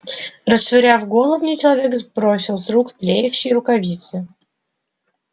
расшвыряв головни человек сбросил с рук тлеющие рукавицы